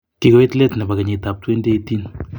Kikoiit leet nepo keyitab 2018.